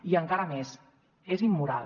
i encara més és immoral